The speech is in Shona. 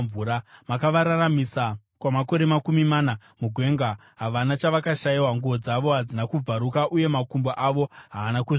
Makavararamisa kwamakore makumi mana mugwenga; havana chavakashayiwa, nguo dzavo hadzina kubvaruka uye makumbo avo haana kuzvimba.